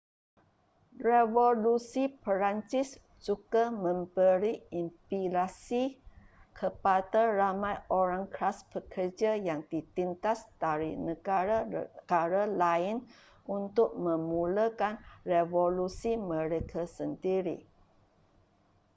revolusi perancis juga memberi inspirasi kepada ramai orang kelas pekerja yang ditindas dari negara-negara lain untuk memulakan revolusi mereka sendiri